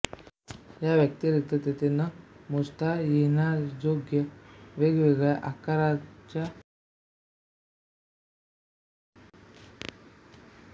याव्यतिरिक्त तेथे न मोजता येण्याजोग्या वेगवेगळ्या आकाराच्या नसा आहेत